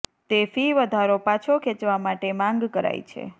તે ફી વધારો પાછો ખેંચવા માટે માંગ કરાઈ છે